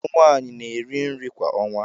Ụmụ nwanyị na-eri nri kwa ọnwa.